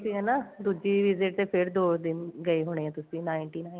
ਹਨਾ ਦੂਜੀ visit ਤੇ ਫੇਰ ਦੋ ਦਿਨ ਗਏ ਹੋਣੇ ਆ ਤੁਸੀਂ ninety nine